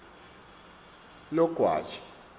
logwaja